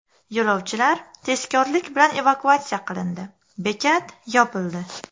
Yo‘lovchilar tezkorlik bilan evakuatsiya qilindi, bekat yopildi.